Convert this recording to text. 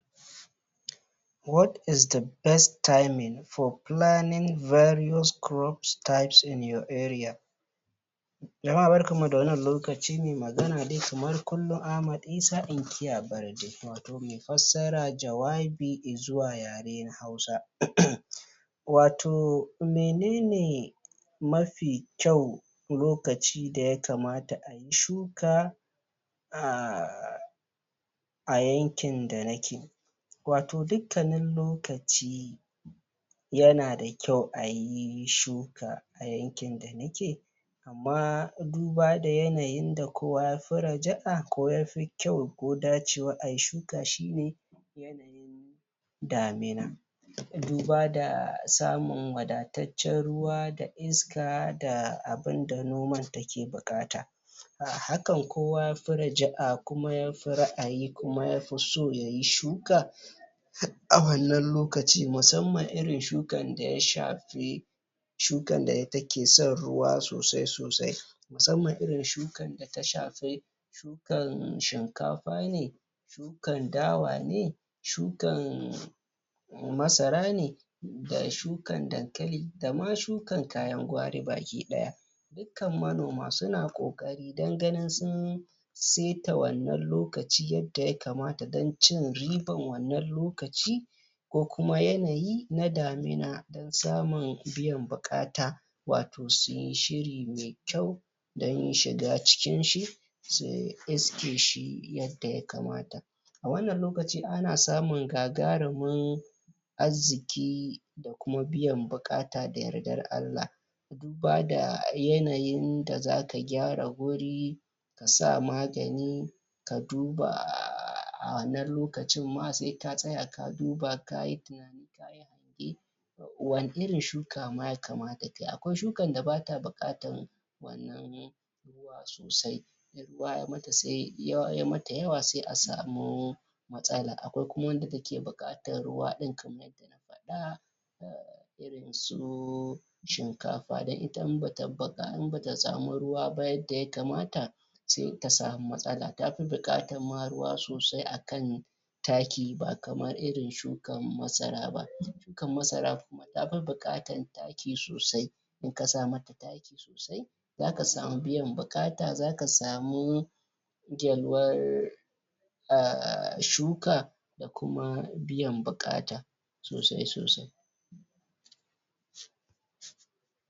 What is the best timing for planning variuis crops types in your area Jama'a barkanmu da wannan lokaci ni ne mai magana dai kamar kullum Ahamd isa inkiya Barde watau mai fassara jawabi i zuwa yare na hausa? Watau menene mafi kyau lokaci da ya kamata ayi shika? a yankin da nake? watau dukkanin lokaci yana da kyau ayi shuka a yankin da nake amma duba da yanayin da kowa ya fi raja'a ko yafi kyau ko ya fi dacewa ayi shuka shine damina duba da samun wadataccen ruwa da da iska da abunda noman take buƙata a hakan kowa ya fi raja'a kuma ya fi ra'ayi kuma ya fi so yayi shuka a wannan lokaci musamman shukan da ya shafi shukan da take son ruwa sosai sosai musamman irin shukan da ta shafi kan shinkafa ne kan dawa ne shukan masara ne da shukan dankali da ma shukan kayan gwari baki ɗaya dukkan manoma suna ƙoƙari don ganin sun saita wannan lokaci yadda ya kamata doncin riban wannan lokaci ko kuma yanayi na damina don samun biyan buƙata watau suyi shiri mai kyau don shiga cikin shi su iske shi yadda ya kamata a wannan lokaci ana samun gagarumin arziki da kuma biyan buƙata da yardar Allah duba da yanayin da zaka gyara guri ka sa magani ka duba a wannan lokacin ma sai ka tsaya ka duba kayi tunani kayi hange wani irin shuka ma ya kamata kayi. Akwai shukan da bata buƙatan wannan ruwa sosai in ruwa yayi mata yawa sai a samu matsala. Akwai kuma wanda take buƙatan ruwa ɗin kamar yadda na faɗa irinsu shinkafa don ita in bata samu ruwa ba yadda ya kamata sai ta samu matsala, tafi buƙatan ma ruwa sosai akan taki ba kamar irin shukan masara ba Shukan masara kuma ta fi buƙatan taki sosai in ka sa mata taki sosai zaka samu biyan buƙata sosai zaka samu yalwar um shuka da kuma biyan buƙata sosai sosai.